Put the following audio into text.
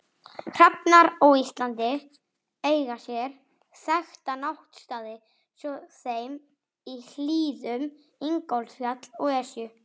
Hrafnar á Íslandi eiga sér þekkta náttstaði svo sem í hlíðum Ingólfsfjalls og Esju.